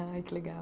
Ai, que legal.